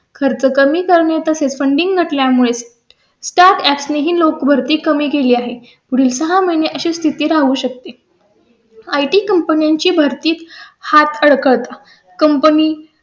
खर्च कमी करणे तसे funding त्यामुळे स्टार असे ही लोक भरती काढली आहे. पुढील सहा महिने अशी स्थिती राहू शकते. आय टी कंपनी ची भरती हात अडकत कंपनी